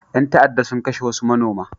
Ƴan ta'adda sun kashe wasu manoma.